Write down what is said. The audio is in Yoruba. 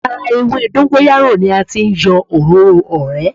Ara ewé dọ́ńgóráyò ni a ti yọ òróró o rẹ̀.